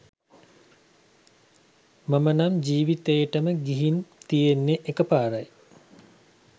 මම නම් ජීවිතේටම ගිහින් තියෙන්නෙ එක පාරයි.